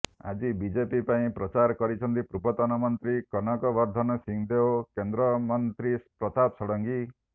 ଆଜି ବିଜେପି ପାଇଁ ପ୍ରଚାର କରିଛନ୍ତି ପୂର୍ବତନ ମନ୍ତ୍ରୀ କନକ ବର୍ଦ୍ଧନ ସିଂଦେଓ କେନ୍ଦ୍ର ମନ୍ତ୍ରୀ ପ୍ରତାପ ଷଡ଼ଙ୍ଗୀ